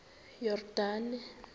yordane